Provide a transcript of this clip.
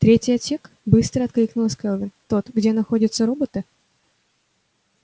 третий отсек быстро откликнулась кэлви тот где находятся роботы